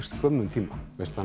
skömmum tíma